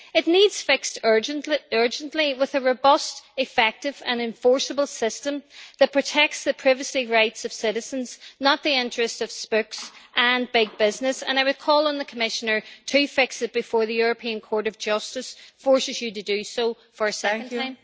It needs to be fixed urgently with a robust, effective and enforceable system that protects the privacy rights of citizens, not the interest of spooks and big business. I would call on the Commissioner to fix it before the European Court of Justice forces you to do so for a second time.